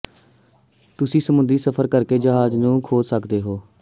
ਤੁਸੀਂ ਸਮੁੰਦਰੀ ਸਫ਼ਰ ਕਰਕੇ ਜਹਾਜ਼ ਨੂੰ ਖੋਜ ਸਕਦੇ ਹੋ